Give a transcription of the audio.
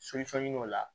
o la